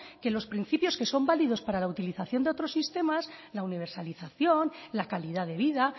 que los principios que son válidos para la utilización de otros sistemas la universalización la calidad de vida